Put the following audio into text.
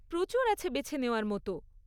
প্রচুর আছে বেছে নেওয়ার মতো।